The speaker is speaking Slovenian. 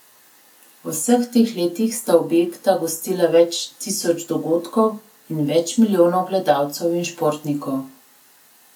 V vseh teh letih sta objekta gostila več tisoč dogodkov in več milijonov gledalcev in športnikov.